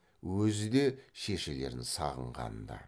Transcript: өзі де шешелерін сағынған ды